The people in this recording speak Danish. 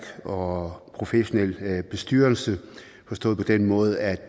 og professionel bestyrelse forstået på den måde at